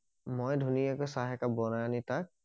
মই ধুনীয়াকৈ চাহ একাপ বনাই আনি তাক